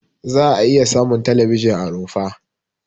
Za'a iya samun talabijin a rumfa.